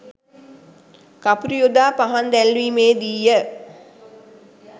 කපුරු යොදා පහන් දැල්වීමේ දී ය